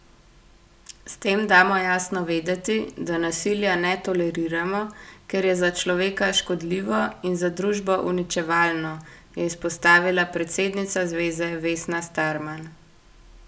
S tem damo jasno vedeti, da nasilja ne toleriramo, ker je za človeka škodljivo in za družbo uničevalno, je izpostavila predsednica zveze Vesna Starman.